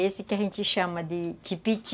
Esse que a gente chama de tipiti.